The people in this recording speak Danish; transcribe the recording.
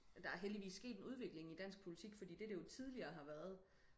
der er heldigvis sket en udvikling i dansk politik fordi det det jo tidligere har været